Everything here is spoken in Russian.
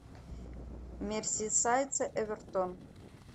мерсисайдцы эвертон